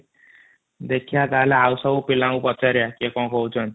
ଦେଖିବା ତାହେଲେ ଆଉ ସବୁ ପିଲା ମାନେ ପଚାରିବ କିଏ କ'ଣ କହୁଛନ୍ତି